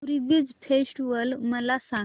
पुरी beach festival मला सांग